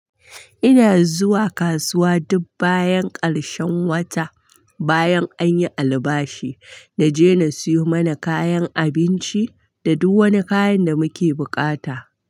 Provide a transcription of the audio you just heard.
Ina zuwa kasuwa duk bayan ƙarshen wata bayan an yi albashi, na je na siyo mana kayan abinci da duk wani kayan da muke buƙata.